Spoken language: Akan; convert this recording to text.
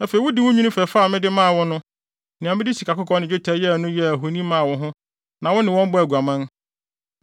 Afei wode wo nnwinne fɛfɛ a mede maa wo no, nea mede sikakɔkɔɔ ne dwetɛ yɛe no yɛɛ ahoni maa wo ho na wo ne wɔn bɔɔ aguaman.